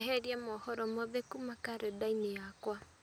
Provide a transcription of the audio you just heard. eheria mohoro mothe kuma karenda-inĩ yakwa